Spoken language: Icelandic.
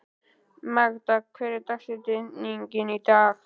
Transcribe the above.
Magda, hver er dagsetningin í dag?